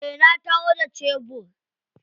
Eh na taho da shebur.